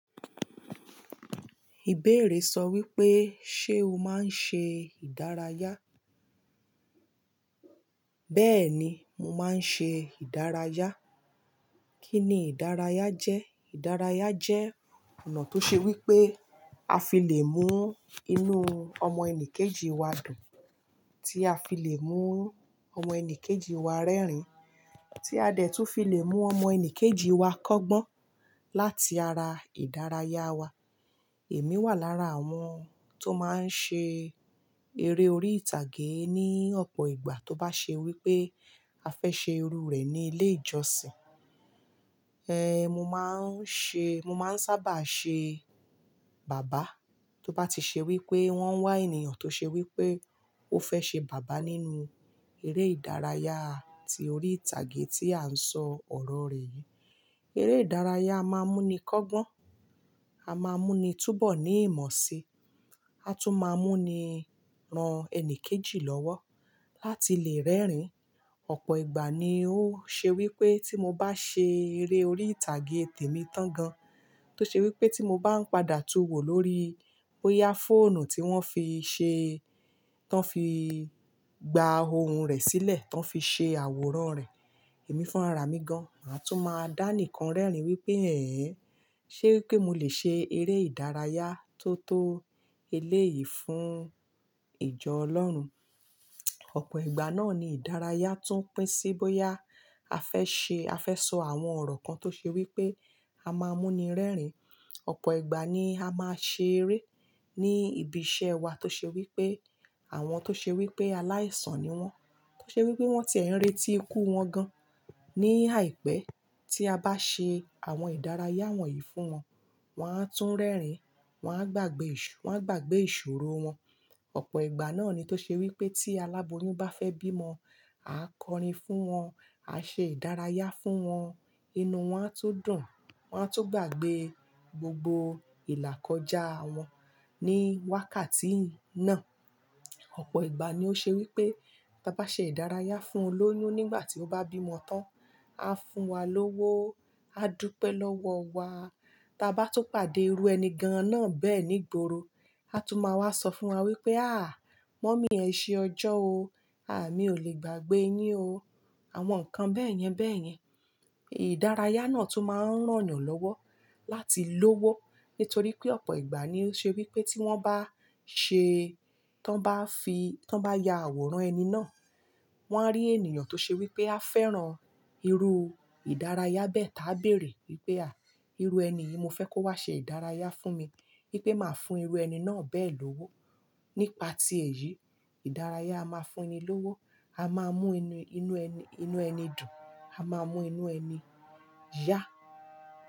Ìbéèrè sọ wípé, ṣé o máa ń ṣe ìdárayá? Bẹ́ẹ̀ni, mo máa ń ṣe ìdárayá. Kí ni ìdárayá jẹ́? Ìdárayá jẹ́ ọ̀nà tó ṣe wípé a fi le mú inú ọmọ ẹni kejì wá dùn, tí a fi le mú ọmọ ẹni kejì wá rẹ́rìn, tí a dẹ̀ tún fi le mú ọmọ ẹni kejì wá kọ́gbọ́n láti ara ìdárayá wa. Èmi wà lára àwọn tó máa ń ṣe eré orí ìtàgé ní ọ̀pọ̀ ìgbà tó bá ṣe wípé a fẹ́ ṣe irú rẹ̀ ní ilé ìjọsìn. Eh, mo máa ń ṣe, mo máa ń sábà ṣe bàbá tó bá ti ṣe wípé wọ́n wá ènìyàn tó ṣe wípé ó fẹ́ ṣe bàbá nínú eré ìdárayá tí orí ìtàgé tí à ń sọ ọ̀rọ̀ rẹ̀ yìí. Eré ìdárayá a máa mú ni kọ́gbọ́n, a máa mú ni túbọ̀ ní ìmọ̀ si, a tún máa mú ni ran ẹni kejì lọ́wọ́ láti lè rẹ́rìn. Ọ̀pọ̀ ìgbà ni ó ṣe wípé tí mo bá ṣe èrè orí ìtàgé tèmi tán gan, tó ṣe wípé tí mo báà ń padà tún wò ní orí bóyá ẹ̀rọ tí wọn fi gba ohùn rẹ̀ sílẹ̀, tí wọn fi ṣe àwòrán rẹ. Èmi fúnra mi gan, màá tún máa dánìkan rẹ́rìn wípé, ẹ́ ẹ̀, ṣe wípé mo lè ṣe eré ìdárayá tó tó eléyìí fún ìjọ Ọlọ́run? Ọ̀pọ̀ ìgbà náà ni ìdárayá tún pín sí bóyá a fẹ́ ṣe, a fẹ́ sọ àwọn ọ̀rọ̀ kan tó ṣe wípé a máa mú ni rẹ́rìn. Ọ̀pọ̀ ìgbà ni a máa ṣe eré ní ibi iṣẹ́ wa tó ṣe wípé àwọn tó ṣe wípé aláìsàn ni wọ́n, tó ṣe wípé wọ́n ti ẹ̀ n retí ikú wọn gan. Ni àìpẹ́ tí a bá ṣe àwọn ìdárayá wọ̀nyí fún wọn, wọn á tún rẹ́rìn, wọn á gbàgbẹ́ ìṣ-- wọ́n á gbàgbé ìṣòro wọn. Ọ̀pọ̀ ìgbà náà ni tó ṣe wípé tí aláboyún bá fẹ́ bímọ, a kọrin fún wọn, a ṣe ìdárayá fún wọn, inú wọn á tún dùn, wọ́n á tún gbàgbé gbogbo ìlà kọjá wọn ní wákàtí náà. Ọ̀pọ̀ ìgbà ni ó ṣe wípé tí abá ṣe ìdárayá fún olóyún nígbà tí ó bá bí ọmọ tán aá fún wa ní owó, aá dúpẹ́ ní ọwọ́ waá. Tí a bá tún pàdé irú ẹni gan-an náà bẹ́ẹ̀ nígboro, á tún máa wá sọ fún wa wípé, "àáà, mọ́mì ẹ ṣe ọjọ́ o. A mi ò lè gbàgbé yin o." Àwọn nǹkan bẹ́ẹ̀ yẹn bẹ́ẹ̀ yẹn. Ìdárayá náà tún máa ń ràn yan lọ́wọ́ láti lówó nítorí pé ọ̀pọ̀ ìgbà ni ó ṣe wípé tí wọ́n bá ṣe, tán bá fi, tán bá ya àwòrán ẹni náà, wọ́n á rí ènìyàn tó ṣe wípé á fẹ́ran irú ìdárayá bẹ́ẹ̀ tá bere wípé, "à, irú ẹni yìí mo fẹ́ kó wá ṣe ìdárayá fún mi, wípé màá fún irú ẹni náà bẹ́ẹ̀ lówó." Nípa ti èyí, ìdárayá a máa fún ẹni lówó. A máa mú inú ẹni, inú ẹni dùn, a máa mú inú ẹni yá.